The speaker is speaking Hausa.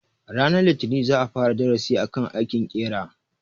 Ranar litinin za a fara darasin akan aikin ƙera.